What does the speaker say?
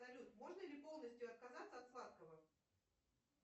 салют можно ли полностью отказаться от сладкого